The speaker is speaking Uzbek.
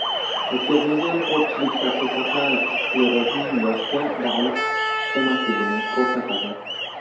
O‘tkazilgan ko‘pchilik tadqiqotlar sklerozning yoshga bog‘liq emasligini ko‘rsatadi.